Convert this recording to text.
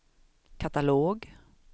katalog